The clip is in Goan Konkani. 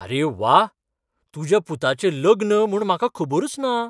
अरे व्वा! तुज्या पुताचें लग्न म्हूण म्हाका खबरूच ना!